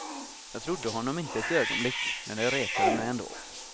Jag trodde honom inte ett ögonblick, men det retade mig ändå.